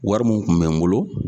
Wari mun kun bɛ n bolo.